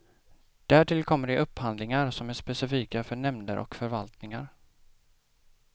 Därtill kommer de upphandlingar som är specifika för nämnder och förvaltningar.